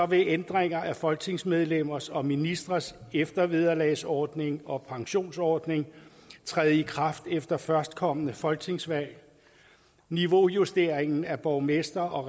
vil ændringer af folketingsmedlemmers og ministres eftervederlagsordning og pensionsordning træde i kraft efter førstkommende folketingsvalg niveaujusteringen af borgmester og